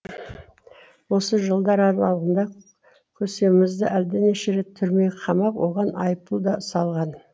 осы жылдар аралығында көсемімізді әлденеше рет түрмеге қамап оған айыппұл да салған